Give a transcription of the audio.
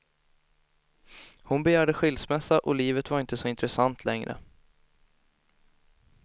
Hon begärde skilsmässa och livet var inte så intressant längre.